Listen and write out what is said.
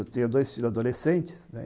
Eu tinha dois filhos adolescentes, né?